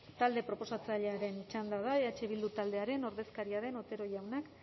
talde proposatzailearen txanda da eh bildu taldearen ordezkaria den otero jaunak